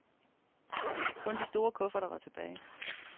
Kun de store kufferter var tilbage.